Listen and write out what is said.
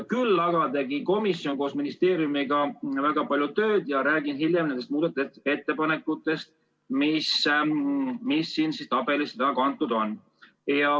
Küll aga tegi komisjon koos ministeeriumiga väga palju tööd ja ma hiljem räägin nendest muudatusettepanekutest, mis tabelisse kantud on.